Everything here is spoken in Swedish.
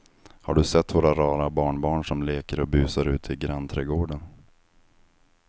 Har du sett våra rara barnbarn som leker och busar ute i grannträdgården!